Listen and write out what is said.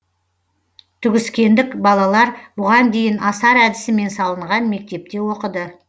түгіскендік балалар бұған дейін асар әдісімен салынған мектепте оқыды